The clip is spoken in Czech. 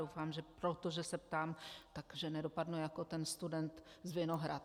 Doufám, že proto, že se ptám, tak že nedopadnu jako ten student z Vinohrad.